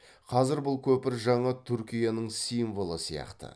қазір бұл көпір жаңа түркияның символы сияқты